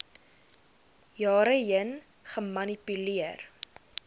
jare heen gemanipuleer